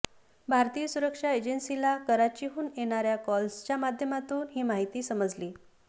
भारतीय सुरक्षा एजन्सीला कराचीहून येणाऱ्या कॉल्सच्या माध्यमातून ही माहिती समजलं